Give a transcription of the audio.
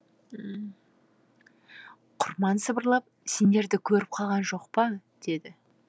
құрман сыбырлап сендерді көріп қалған жоқ па деді